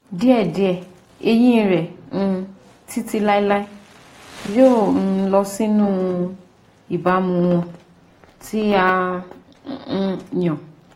Díẹ̀díẹ̀, eyín rẹ um títí láéláé yóò um lọ sínú ìbámu wọn tí a um yàn